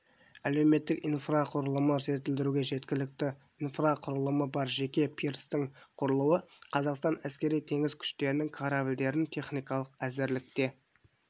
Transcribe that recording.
әлеуметтік инфрақұрылымы жетілдірілуде жеткілікті инфрақұрылымы бар жеке пирстің құрылуы қазақстан әскери-теңіз күштерінің корабльдерін техникалық әзірлікте